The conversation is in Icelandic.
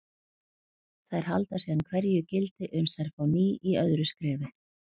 Þær halda síðan hverju gildi uns þær fá ný í öðru skrefi.